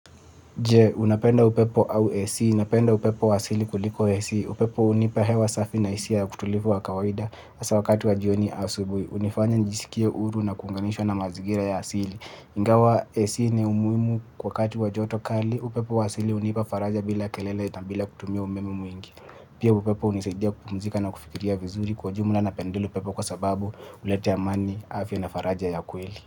Je, unapenda upepo au AC. Napenda upepo wa asili kuliko AC. Upepo hunipa hewa safi na hisia ya utulivu wa kawaida hasa wakati wa jioni au asubuhi. Hunifanya njisikie huru na kuunganishwa na mazingira ya asili. Ingawa AC ni umuhimu wakati wa joto kali. Upepo wa asili hunipa faraja bila kelele na bila kutumia umeme mwingi. Pia upepo hunisaidia kupumzika na kufikiria vizuri kwa jumula napendelea upepo kwa sababu huleta amani afya na faraja ya kweli.